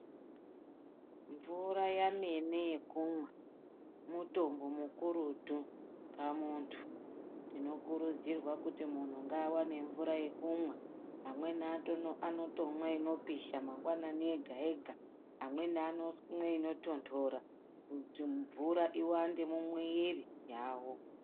Mvura yemene yekumwa mutombo mukurutu pamuntu tinokurudzirwa kuti munhu ngaawanze mvura yekumwa amweni anotomwe inopisha mangwanani ega ega amweni anomwe inotondora kuti mvura iwande mumwiiri yawo.